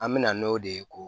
An mɛna n'o de ye ko